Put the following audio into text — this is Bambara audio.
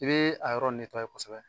I bee a yɔrɔ kosɛbɛ